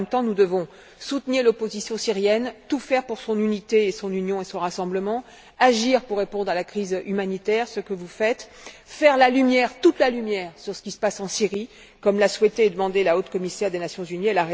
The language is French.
En même temps, nous devons soutenir l'opposition syrienne, tout faire pour son unité, son union et son rassemblement, agir pour répondre à la crise humanitaire ce que vous faites et faire la lumière, toute la lumière, sur ce qui se passe en Syrie, comme l'a souhaité et demandé avec raison la Haute Commissaire des Nations unies.